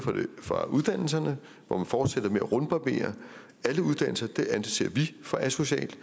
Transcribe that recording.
fra uddannelserne hvor man fortsætter med at rundbarbere alle uddannelser og det anser vi for asocialt